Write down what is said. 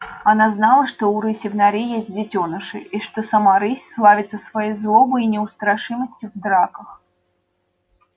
она знала что у рыси в норе есть детёныши и что сама рысь славится своей злобой и неустрашимостью в драках